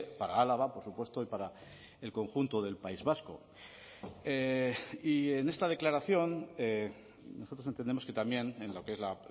para álava por supuesto y para el conjunto del país vasco y en esta declaración nosotros entendemos que también en lo que es la